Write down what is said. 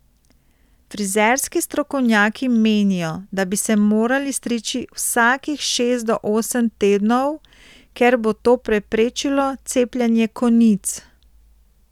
Frizerski strokovnjaki menijo, da bi se morali striči vsakih šest do osem tednov, ker bo to preprečilo cepljenje konic.